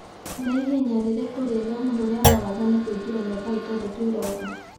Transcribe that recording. nĩ ihenya rĩrĩkũ rĩega mũno rĩa marathon kũingĩra mĩaka ĩtandatũ ĩroka